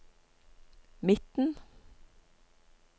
midten